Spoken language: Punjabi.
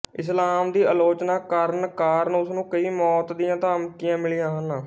ਇਸਲਾਮ ਦੀ ਆਲੋਚਨਾ ਕਰਨ ਕਾਰਨ ਉਸਨੂੰ ਕਈ ਮੌਤ ਦੀਆਂ ਧਮਕੀਆਂ ਮਿਲੀਆਂ ਹਨ